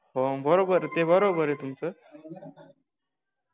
हो बरोबर ते बरोबर आहे तुमचं